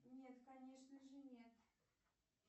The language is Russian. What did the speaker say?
нет конечно же нет